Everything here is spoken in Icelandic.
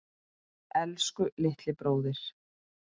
Elsku litli bróðir.